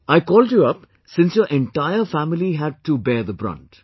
I called you up, since your entire family had to hear the brunt